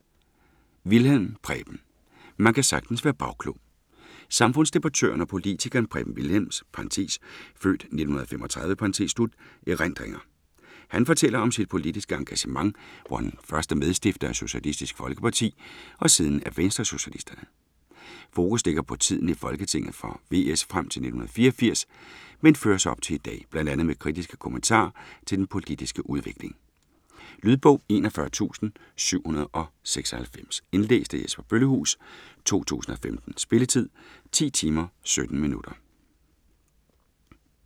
Wilhjelm, Preben: Man kan sagtens være bagklog Samfundsdebattøren og politikeren Preben Wilhjelms (f. 1935) erindringer. Han fortæller om sit politiske engagement, hvor han først er medstifter af Socialistisk Folkeparti og siden af Venstresocialisterne. Fokus ligger på tiden i Folketinget for VS frem til 1984, men føres op til i dag, bl.a. med kritiske kommentarer til den politiske udvikling. Lydbog 41796 Indlæst af Jesper Bøllehuus , 2015. Spilletid: 10 timer, 17 minutter.